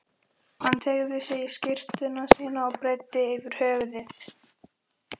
Hann teygði sig í skyrtuna sína og breiddi yfir höfuð.